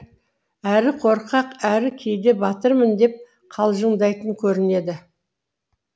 әрі қорқақ әрі кейде батырмын деп қалжыңдайтын көрінеді